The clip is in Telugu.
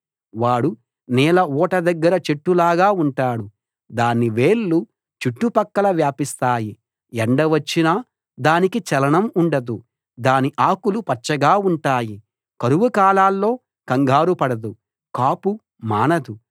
వాడు నీళ్ళ ఊట దగ్గర చెట్టులాగా ఉంటాడు దాని వేళ్ళు చుట్టుపక్కలా వ్యాపిస్తాయి ఎండ వచ్చినా దానికి చలనం ఉండదు దాని ఆకులు పచ్చగా ఉంటాయి కరువు కాలాల్లో కంగారు పడదు కాపు మానదు